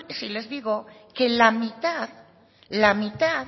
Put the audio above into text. si les digo que la mitad la mitad